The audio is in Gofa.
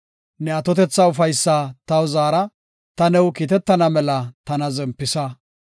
Ne atotetha ufaysaa taw zaara; ta new kiitetana mela tana zempisa.